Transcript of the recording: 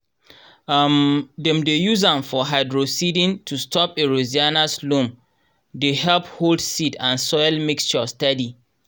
um dem dey use am for hydroseeding to stop erosionas loam dey help hold seed and soil mixture steady.